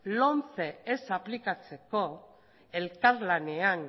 lomce ez aplikatzeko elkarlanean